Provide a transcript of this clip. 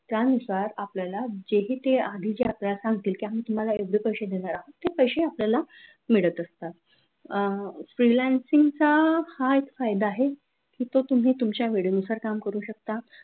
त्यानुसार आपल्याला जे ही ते आधीच आपल्याला सांगतील की आम्ही तुम्हाला एवढे पैसे देणार आहेत ते पैसे आपल्याला मिळत असतात अह freelancing चा हा एक फायदा आहे की तो तुम्ही तुमच्या वेळेनुसार काम करू शकता.